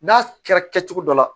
N'a kɛra kɛcogo dɔ la